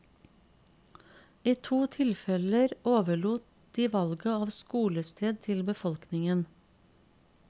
I to tilfeller overlot de valget av skolested til befolkningen.